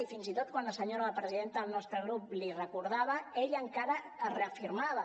i fins i tot quan la senyora presidenta del nostre grup l’hi recordava ell encara es reafirmava